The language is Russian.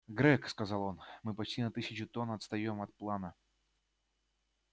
грег сказал он мы почти на тысячу тонн отстаём от плана